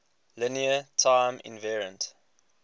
linear time invariant